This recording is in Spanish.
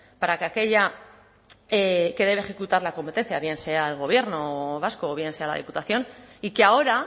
para que aquella que debe ejecutar la competencia bien sea el gobierno vasco o bien sea la diputación y que ahora